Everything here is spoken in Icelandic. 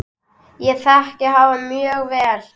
Ég þekki hafa mjög vel.